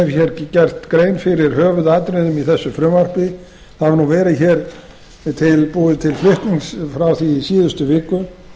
hér gert grein fyrir höfuðatriðum í þessu frumvarpi það hefur nú verið tilbúið til flutnings frá því í síðustu viku